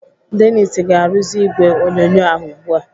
Dennis ga-arụzi ìgwè onyonyo ahụ ugbu a.